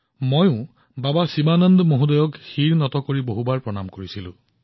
মইও বাবা শিৱানন্দজীৰ ওচৰত নমস্কাৰ কৰিছিলো আৰু বাৰে বাৰে নমস্কাৰ কৰিছিলো